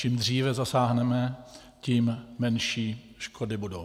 Čím dříve zasáhneme, tím menší škody budou.